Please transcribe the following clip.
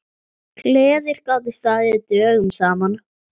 Gleðir gátu staðið dögum saman.